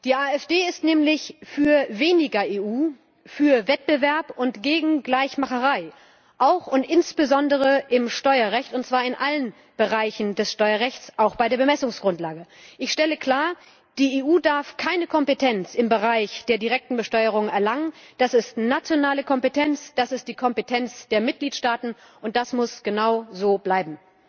Die AfD ist nämlich für weniger EU, für Wettbewerb und gegen Gleichmacherei auch und insbesondere im Steuerrecht, und zwar in allen Bereichen des Steuerrechts, auch bei der Bemessungsgrundlage. Ich stelle klar Die EU darf keine Kompetenz im Bereich der direkten Besteuerung erhalten. Das ist nationale Kompetenz. Das ist die Kompetenz der Mitgliedstaaten. Und das muss genau so bleiben!